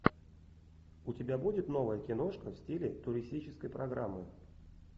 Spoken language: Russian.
у тебя будет новая киношка в стиле туристической программы